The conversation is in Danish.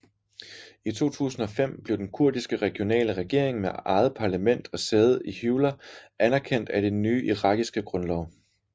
I 2005 blev Den Kurdiske Regionale Regering med eget parlament og sæde i Hewler anerkendt i den nye irakiske grundlov